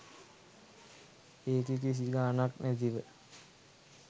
ඒකි කිසි ගානක් නැතිව